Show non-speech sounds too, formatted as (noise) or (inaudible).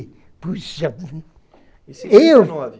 Eu pus (unintelligible) Eu